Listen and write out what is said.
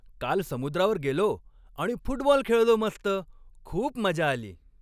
काल समुद्रावर गेलो आणि फुटबॉल खेळलो मस्त. खूप मजा आली.